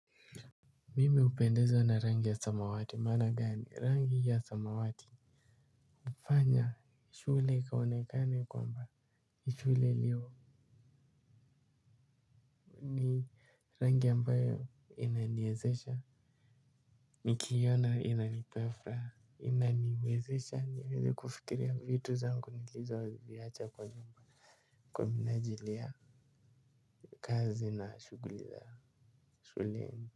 Mime upendezwa na rangi ya samawati maana gani rangi ya samawati hufanya shule ikaonekane kwamba nishule iliyo nii rangi ambayo inaniezesha. Nikiiona inanipea furaha. Inaniwezesha niweze kufikiria vitu zangu nilizoziacha kwa nyumba. Kwa minajili ya kazi na shughuli za shule.